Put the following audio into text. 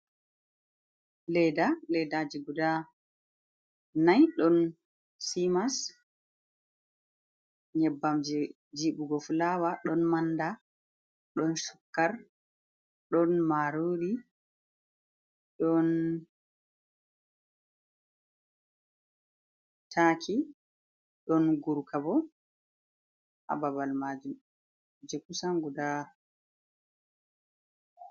Leda, ledaaji guda nai, ɗon simas nyebbam je jiɓugo fulawa, ɗon manda, don sukkar, ɗon marori, ɗon taki don gurkabo ha babal majum je kusan gudaa.